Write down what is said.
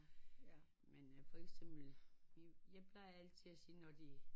Men øh for eksempel jeg plejer altid at sige når de